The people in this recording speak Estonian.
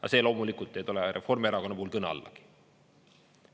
Aga see loomulikult ei tule Reformierakonna puhul kõne allagi.